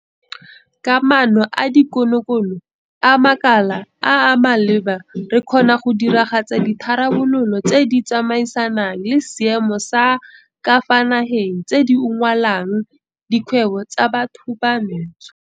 Ka maano a dikonokono a makala a a maleba re kgona go diragatsa ditharabololo tse di tsamaisanang le seemo sa ka fa nageng tse di unngwelang dikgwebo tsa bathobantsho.